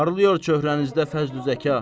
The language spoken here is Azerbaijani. Parleyor çöhəənizdə fəzli zəqa.